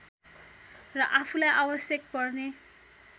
र आफूलाई आवश्यक पर्ने